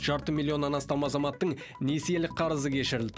жарты миллионнан астам азаматтың несиелік қарызы кешірілді